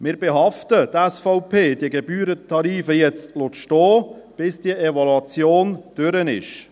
Wir behaften ..., die SVP, diese Gebührentarife jetzt stehen zu lassen, bis diese Evaluation durch ist.